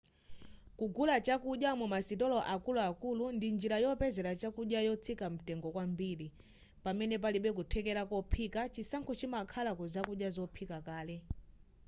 kugula chakudya mumasitolo akuluakulu ndi njira yopezera chakudya yotsika mtengo kwambiri pamene palibe kuthekera kophika chisankho chimakhala ku zakudya zophika kale